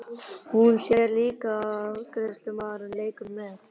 Hún sér líka að afgreiðslumaðurinn leikur með.